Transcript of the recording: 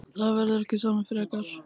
Það verður ekki samið frekar